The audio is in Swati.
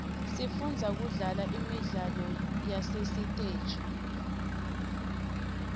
sifundza kudlala imidlalo yasesiteji